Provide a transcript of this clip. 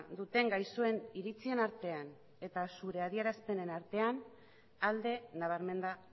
duten gaixoen iritzien artean eta zure adierazpenen artean alde nabarmena